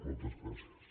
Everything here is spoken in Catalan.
moltes gràcies